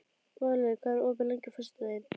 Valur, hvað er opið lengi á föstudaginn?